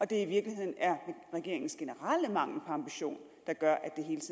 det i virkeligheden er regeringens generelle mangel på ambition der gør